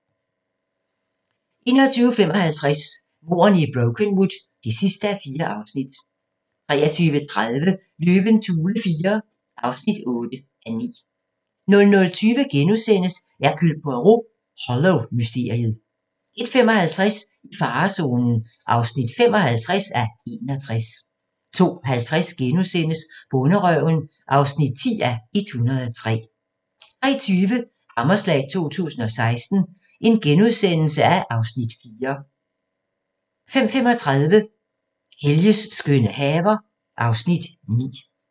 21:55: Mordene i Brokenwood (4:4) 23:30: Løvens hule IV (8:9) 00:20: Hercule Poirot: Hollow-mysteriet * 01:55: I farezonen (55:61) 02:50: Bonderøven (10:103)* 03:20: Hammerslag 2016 (Afs. 4)* 05:35: Helges skønne haver (Afs. 9)